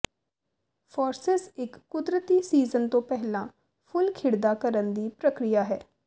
forces ਇੱਕ ਕੁਦਰਤੀ season ਤੋਂ ਪਹਿਲਾਂ ਫੁੱਲ ਖਿੜਦਾ ਕਰਨ ਦੀ ਪ੍ਰਕਿਰਿਆ ਹੈ